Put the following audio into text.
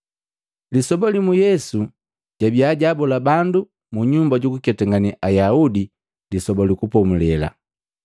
Lisoba limu Yesu jabia jaabola bandu mu nyumba jukuketangane Ayaudi Lisoba lu Kupomulela.